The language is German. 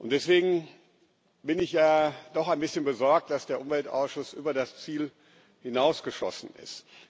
Deswegen bin ich doch ein bisschen besorgt, dass der Umweltausschuss über das Ziel hinausgeschossen ist.